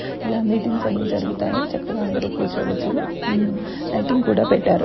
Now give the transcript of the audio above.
ఎలా మీటింగ్స్ అన్ని జరుగుతాయి చక్కగా అందరు కూర్చోవచ్చును . లైటింగ్ కూడా పెట్టారు.